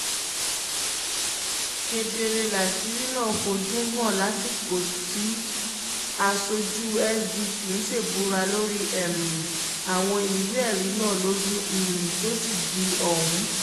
kedere láṣìírí náà fojú hàn lásìkò tí aṣojú sdp ń ṣèbùrà lórí um àwọn ìwé-ẹ̀rí náà lọ́jọ́ um tusidee ọ̀hún